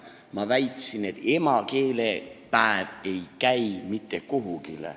Ma väitsin, et emakeelepäev ei käi mitte kuhugi.